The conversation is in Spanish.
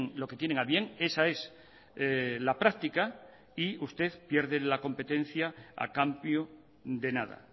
lo que tienen a bien esa es la práctica y usted pierde la competencia a cambio de nada